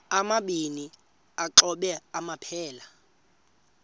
amabini exhobe aphelela